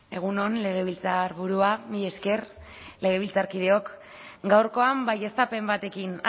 egun on legebiltzarburua mila esker legebiltzarkideok gaurkoan baieztapen batekin